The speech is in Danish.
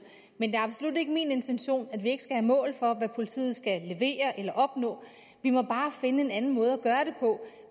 men det er absolut ikke min intention at vi ikke skal have mål for hvad politiet skal levere eller opnå vi må bare finde en anden måde